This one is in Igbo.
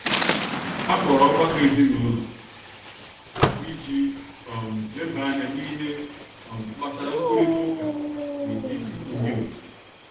Akpọrọ ọgbakọ ezinụlọ iji um leba anya n'ihe um gbasara nkwurita uká n'etiti ndi otu.